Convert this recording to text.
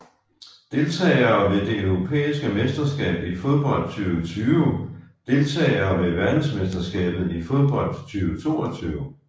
Deltagere ved det europæiske mesterskab i fodbold 2020 Deltagere ved verdensmesterskabet i fodbold 2022